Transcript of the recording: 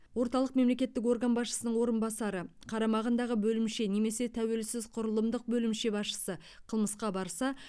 орталық мемлекеттік орган басшысының орынбасары қарамағындағы бөлімше немесе тәуелсіз құрылымдық бөлімше басшысы қылмысқа барса